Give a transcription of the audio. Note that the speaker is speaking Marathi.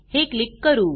हे क्लिक करू